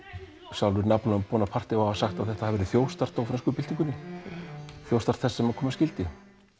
sjálfur Napóleon Bonaparte á að hafa sagt þetta verk þjófstart á frönsku byltingunni þjófstart þess sem koma skyldi